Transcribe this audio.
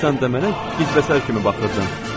“Sən tamamilə qizməsər kimi baxırdın.”